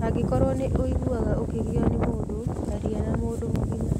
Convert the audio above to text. Angĩkorũo nĩ ũiguaga ũkĩgĩo nĩ mũndũ, aria na mũndũ mũgima.